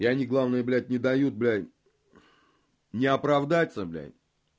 и они главное блять не дают блядь ни оправдаться блядь